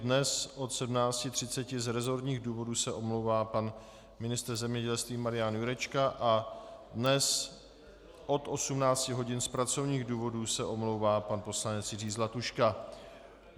Dnes od 17.30 z resortních důvodů se omlouvá pan ministr zemědělství Marian Jurečka a dnes od 18 hodin z pracovních důvodů se omlouvá pan poslanec Jiří Zlatuška.